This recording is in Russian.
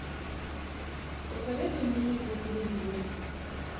посоветуй мне ник на телевизоре